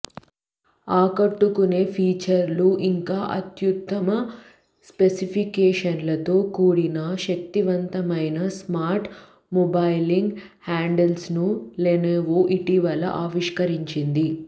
ఆకట్టుకునే ఫీచర్లు ఇంకా అత్యుత్తమ స్పెసిఫికేషన్లతో కూడిన శక్తివంతమైన స్మార్ట్ మొబైలింగ్ హ్యాండ్సెట్ను లెనోవో ఇటీవల ఆవిష్కరించింది